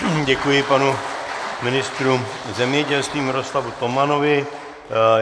Děkuji panu ministru zemědělství Miroslavu Tomanovi.